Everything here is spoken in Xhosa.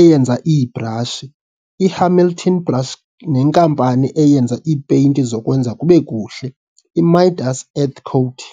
eyenza iibrashi, iHamilton Brush nenkampani eyenza iipeyinti zokwenza kubekuhle, iMidas Earthcote.